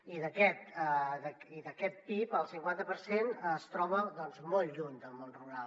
i d’aquest pib el cinquanta per cent es troba molt lluny del món rural